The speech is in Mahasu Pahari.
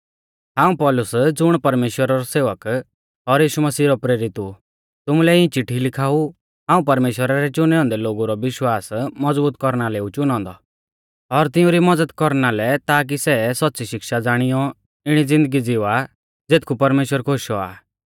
हाऊं पौलुस ज़ुण परमेश्‍वरा रौ सेवक और यीशु मसीहा रौ प्रेरित ऊ तुमुलै इऐं चिट्ठी लिखाऊ हाऊं परमेश्‍वरा रै चुनै औन्दै लोगु रौ विश्वास मज़बूत कौरना लै ऊ चुनौ औन्दौ और तिउंरी मज़द कौरना लै ताकी सै सौच़्च़ी शिक्षा ज़ाणियौ इणी ज़िन्दगी ज़िवा ज़ेथकु परमेश्‍वर खुश औआ आ